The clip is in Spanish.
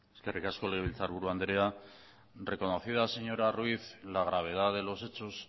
eskerrik asko legebiltzar buru andrea reconocida señora ruiz la gravedad de los hechos